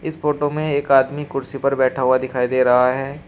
इस फोटो में एक आदमी कुर्सी पर बैठा हुआ दिखाई दे रहा है।